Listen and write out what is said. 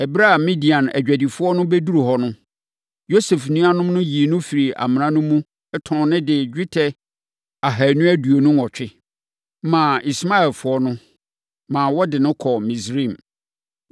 Ɛberɛ a Midian adwadifoɔ no bɛduru hɔ no, Yosef nuanom no yii no firii amena no mu, tɔn no gyee dwetɛ gram ahanu aduonu nwɔtwe (228) maa Ismaelfoɔ no, maa wɔde no kɔɔ Misraim.